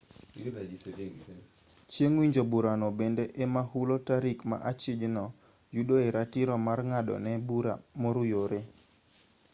chieng' winjo burano bende ema hulo tarik ma achijno yudoe ratiro mar ng'adone bura moruyore